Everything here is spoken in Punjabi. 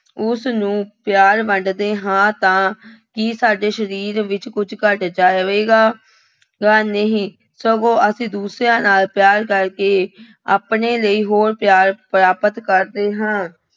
ਉਸਨੂੰ ਪਿਆਰ ਵੰਡਦੇ ਹਾਂ ਤਾਂ ਕੀ ਸਾਡੇ ਸਰੀਰ ਵਿੱਚ ਕੁੱਝ ਘੱਟ ਜਾਵੇਗਾ ਗਾ, ਨਹੀਂ, ਸਗੋਂ ਅਸੀਂ ਦੂਸਰਿਆਂ ਨਾਲ ਪਿਆਰ ਕਰਕੇ ਆਪਣੇ ਲਈ ਹੋਰ ਪਿਆਰ ਪ੍ਰਾਪਤ ਕਰਦੇ ਹਾਂ।